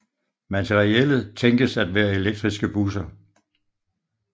Materiellet tænkes at være elektriske busser